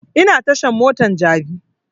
Ina tashan motan jabi